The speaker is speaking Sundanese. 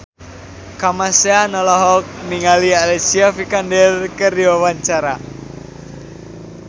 Kamasean olohok ningali Alicia Vikander keur diwawancara